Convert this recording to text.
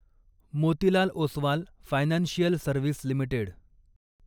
Motilal Oswal financial service limited